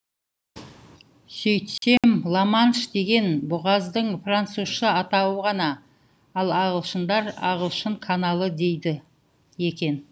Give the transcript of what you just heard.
сөйтсем ла манш деген бұғаздың французша атауы ғана ал ағылшындар ағылшын каналы дейді екен